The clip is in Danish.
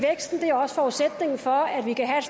forudsætningen for at vi kan have